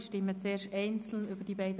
Wir stimmen einzelnen über diese ab.